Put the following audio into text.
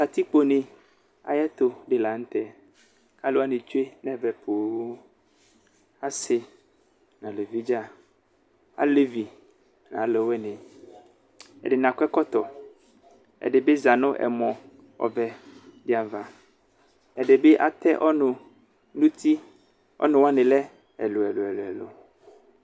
katikpo ne ayiʋ ɛtu di lanʋ tɛ ku alu wani tsoe nʋ ɛvɛ pooo asi nu aluvi dzaaa nu aluvi alevi nu aluvini ɛdini akɔ ɛkɔtɔ ɛdibi zanu ɛmɔ ɔvɛ di ayiʋ ava ɛdibi Àte ɔnu nʋ uti ɔnu wani lɛ ɛlu ɛlu ɛlu